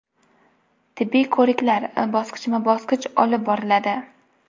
Tibbiy ko‘riklar bosqichma-bosqich olib boriladi.